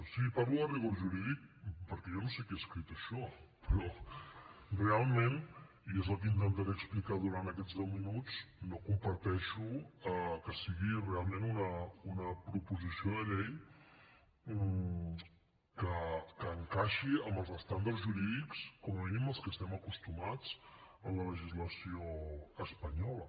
sí parlo de rigor jurídic perquè jo no sé qui ha escrit això però realment i és el que intentaré explicar durant aquests deu minuts no comparteixo que sigui realment una proposició de llei que encaixi amb els estàndards jurídics com a mínim als que estem acostumats en la legislació espanyola